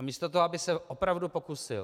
A místo toho, aby se opravdu pokusil...